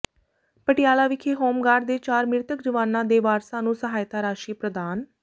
ਪਟਿਆਲਾ ਵਿਖੇ ਹੋਮਗਾਰਡ ਦੇ ਚਾਰ ਮ੍ਰਿਤਕ ਜਵਾਨਾਂ ਦੇ ਵਾਰਸਾਂ ਨੂੰ ਸਹਾਇਤਾ ਰਾਸ਼ੀ ਪ੍ਰਦਾਨ